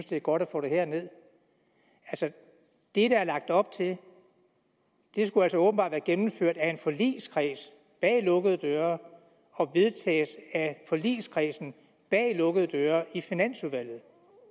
det er godt at få det herned det der er lagt op til skulle altså åbenbart være gennemført af en forligskreds bag lukkede døre og vedtages af forligskredsen bag lukkede døre i finansudvalget